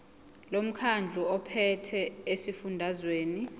lomkhandlu ophethe esifundazweni